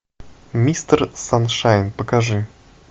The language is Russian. мистер саншайн покажи